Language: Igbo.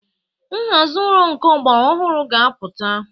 Nhazi ụlọ nke ọgbara ọhụrụ ga-apụta.